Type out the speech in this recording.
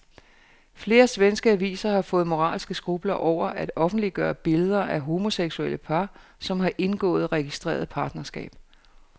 Flere svenske aviser har fået moralske skrupler over at offentliggøre billeder af homoseksuelle par, som har indgået registreret partnerskab.